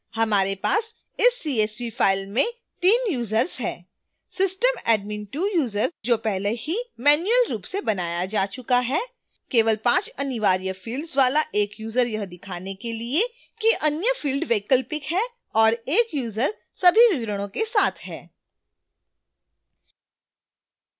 हमारे पास इस csv फाइल में 3 यूजर्स हैं